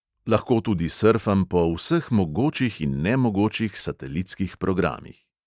Lahko tudi srfam po vseh mogočih in nemogočih satelitskih programih.